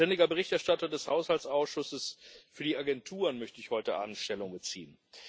Als ständiger Berichterstatter des Haushaltsausschusses für die Agenturen möchte ich heute Abend Stellung beziehen.